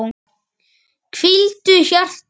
Hvíldu hjarta.